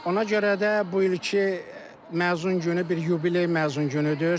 Ona görə də bu ilki məzun günü bir yubiley məzun günüdür.